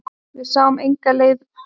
Við sáum enga leið út.